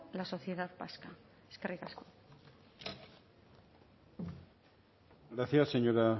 la sociedad vasca eskerrik asko gracias señora